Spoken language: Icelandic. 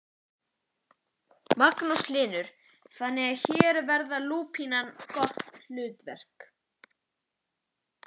Magnús Hlynur: Þannig að hér vann lúpínan gott hlutverk?